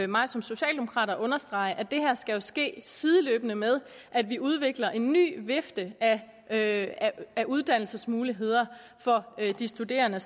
mig som socialdemokrat at understrege at det her jo skal ske sideløbende med at vi udvikler en ny vifte af af uddannelsesmuligheder for de studerende